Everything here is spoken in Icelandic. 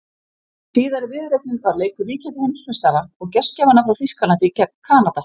Síðari viðureignin var leikur ríkjandi heimsmeistara og gestgjafanna frá Þýskalandi gegn Kanada.